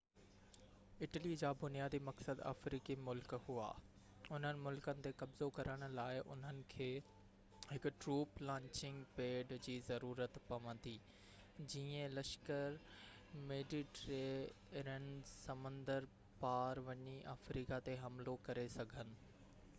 Italy جا بنيادي مقصد افريقي ملڪ هئا اُنهن ملڪن تي قبضو ڪرڻ لاءِ انهن کي هڪ ٽروپ لانچنگ پيڊ جي ضرورت پوندي جيئن لشڪر ميڊيٽيرينين سمنڊ پار وڃي افريقا تي حملو ڪري سگهن